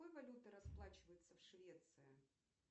какой валютой расплачиваются в швеции